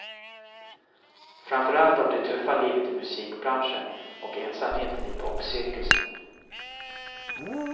Framförallt av det tuffa livet i musikbranschen och ensamheten i popcirkusen.